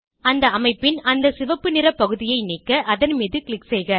அந்த அமைப்பின் அந்த சிவப்பு நிற பகுதியை நீக்க அதன் மீது க்ளிக் செய்க